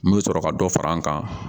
N bɛ sɔrɔ ka dɔ far'an kan